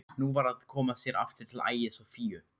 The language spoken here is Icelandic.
Nú var að koma sér aftur til Ægis og Fíu.